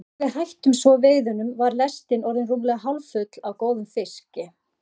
Þegar við hættum svo veiðunum var lestin orðin rúmlega hálffull af góðum fiski.